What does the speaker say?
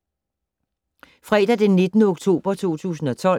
Fredag d. 19. oktober 2012